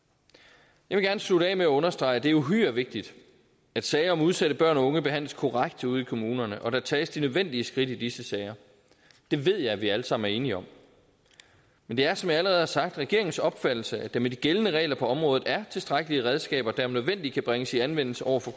jeg vil gerne slutte af med at understrege at det er uhyre vigtigt at sager om udsatte børn og unge behandles korrekt ude i kommunerne og der tages de nødvendige skridt i disse sager det ved jeg vi alle sammen er enige om men det er som jeg allerede har sagt regeringens opfattelse at der med de gældende regler på området er tilstrækkelige redskaber der om nødvendigt kan bringes i anvendelse over for